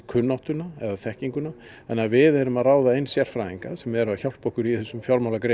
kunnáttuna eða þekkinguna þannig að við erum að ráða inn sérfræðinga sem eru að hjálpa okkur í þessum